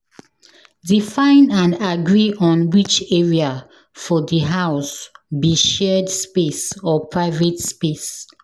Define and agree on which area for di house be shared space or private space